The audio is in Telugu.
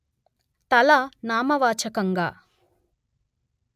తల నామవాచకంగా